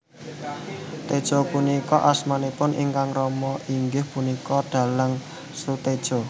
Tejo punika asmanipun ingkang rama inggih punika dhalang Soetedjo